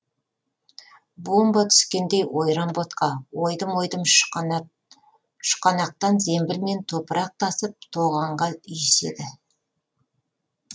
бомба түскендей ойран ботқа ойдым ойдым шұқанақтан зембілмен топырақ тасып тоғанға үйіседі